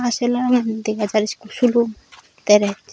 aa sulum dega jar ekko sulum dress.